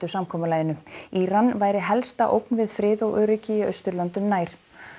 samkomulaginu Íran væri helsta ógn við frið og öryggi í Austurlöndum nær